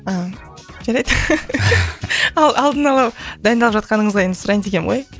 ааа жарайды алдын ала дайындалып жатқаныңызға енді сұрайын дегенім ғой